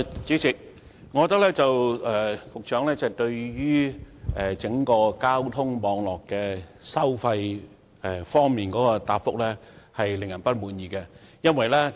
主席，我認為，局長就整個交通網絡收費事宜的答覆未能令人滿意。